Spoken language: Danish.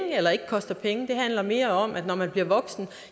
eller ikke koster penge det handler mere om at når man bliver voksen